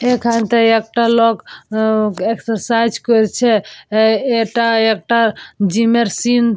এখানে একটায় লোক অ্যা এক্সারসাইজ করছে এ এ এটা একটা জিমের সিন ।